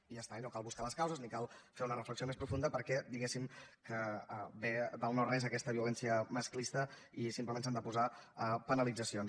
i ja està i no cal buscar ne les causes ni cal fer una reflexió més profunda perquè diguéssim que ve del no res aquesta violència masclista i simplement s’han de posar penalitzacions